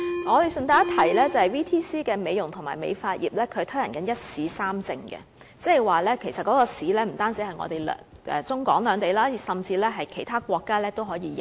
我順帶一提，職業訓練局在美容及美髮業推行"一試三證"計劃，即這個考試不單在中港兩地，甚至獲其他國家承認。